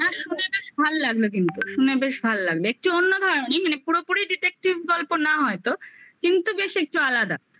না শুনে ভাল লাগলো কিন্তু শুনে বেশ ভাল লাগলো একটু অন্য ধরনের মানে পুরোপুরি detective গল্প না হয়তো কিন্তু বেশ একটু আলাদা